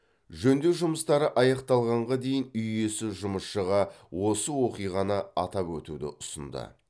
жөндеу жұмыстары аяқталғанға дейін үй иесі жұмысшыға осы оқиғаны атап өтуді ұсынды